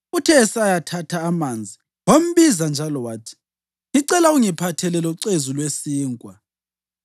Uthe esayathatha amanzi, wambiza njalo wathi, “Ngicela ungiphathele locezu lwesinkwa.”